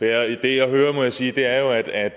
er jo må jeg sige at at